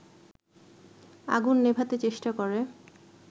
আগুন নেভাতে চেষ্টা করে